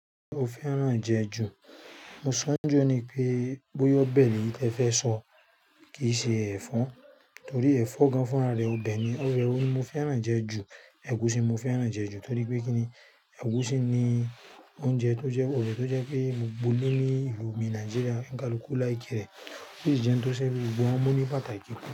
O fẹ́ràn jẹ ju, mo sọ ń jó oni pé bóyá ọ̀bẹ ni tẹ fẹ́ sọ kì í ṣe ẹ̀fọ́, torí ẹ̀fọ́ gan fún ara rẹ ọ̀bẹ ni. Obe wo ni mo fẹ́ràn jẹ ju? Ẹ̀gúsí mo fẹ́ràn jẹ ju torí pé kí ni? Ẹ̀gúsí ni oúnjẹ tó jẹ́ ọ̀bẹ́ tó jẹ́ pé gbogbo ile ní ìlú mi Nàìjíríà onikalúkú like é. Ó sì jẹ́ ohun tó ṣẹ́gun gbogbo ọmọ ní pàtàkì púpọ̀